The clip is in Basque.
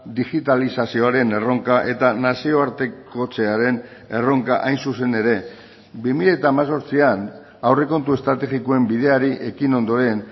digitalizazioaren erronka eta nazioartekotzearen erronka hain zuzen ere bi mila hemezortzian aurrekontu estrategikoen bideari ekin ondoren